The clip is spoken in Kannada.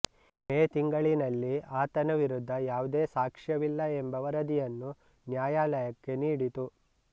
ಮೇ ತಿಂಗಳಿನಲ್ಲಿ ಆತನ ವಿರುದ್ಧ ಯಾವುದೇ ಸಾಕ್ಷ್ಯವಿಲ್ಲ ಎಂಬ ವರದಿಯನ್ನು ನ್ಯಾಯಾಲಯಕ್ಕೆ ನೀಡಿತು